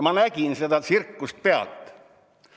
Ma nägin seda tsirkust pealt.